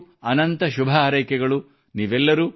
ನಿಮ್ಮೆಲ್ಲರಿಗೂ ಅನಂತ ಶುಭಹಾರೈಕೆಗಳು